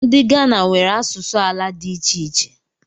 Ndị Ghana nwere asụsụ ala dị iche iche